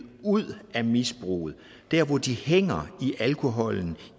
ud af misbruget dér hvor de hænger i alkoholen